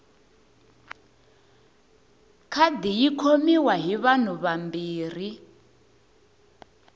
khadi yi khomiwa hi vanhu vambirhi